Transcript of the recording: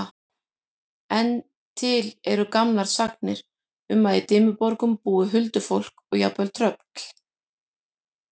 En til eru gamlar sagnir um að í Dimmuborgum búi huldufólk og jafnvel tröll.